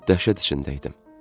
Mən dəhşət içində idim.